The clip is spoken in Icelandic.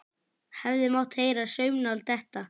Hefði mátt heyra saumnál detta.